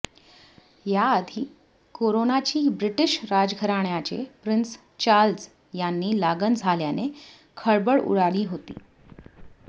याआधी कोरोनाची ब्रिटिश राजघराण्याचे प्रिन्स चार्ल्स यांनी लागण झाल्याने खळबळ उडाली होती